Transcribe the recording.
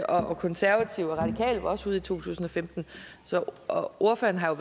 og konservative og radikale var også ude i to tusind og femten og ordføreren har